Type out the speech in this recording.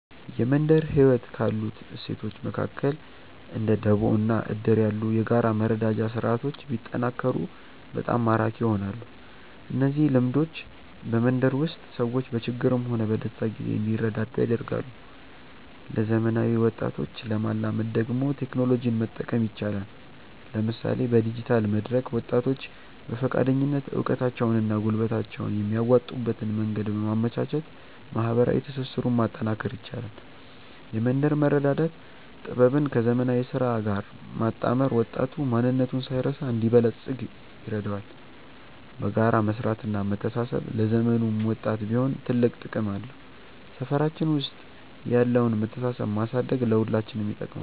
የመንደር ህይወት ካሉት እሴቶች መካከል እንደ ደቦ እና እድር ያሉ የጋራ መረዳጃ ስርዓቶች ቢጠናከሩ በጣም ማራኪ ይሆናሉ። እነዚህ ልምዶች በመንደር ውስጥ ሰዎች በችግርም ሆነ በደስታ ጊዜ እንዲረዳዱ ያደርጋሉ። ለዘመናዊ ወጣቶች ለማላመድ ደግሞ ቴክኖሎጂን መጠቀም ይቻላል፤ ለምሳሌ በዲጂታል መድረክ ወጣቶች በፈቃደኝነት እውቀታቸውንና ጉልበታቸውን የሚያዋጡበትን መንገድ በማመቻቸት ማህበራዊ ትስስሩን ማጠናከር ይቻላል። የመንደር መረዳዳት ጥበብን ከዘመናዊ ስራ ጋር ማጣመር ወጣቱ ማንነቱን ሳይረሳ እንዲበለጽግ ይረዳዋል። በጋራ መስራትና መተሳሰብ ለዘመኑም ወጣት ቢሆን ትልቅ ጥቅም አለው። ሰፈራችን ውስጥ ያለውን መተሳሰብ ማሳደግ ለሁላችንም ይጠቅማል።